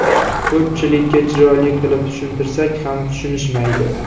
Ko‘pchilikka chiroyli qilib tushuntirsak ham tushunishmaydi.